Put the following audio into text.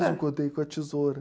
É, cortei com a tesoura.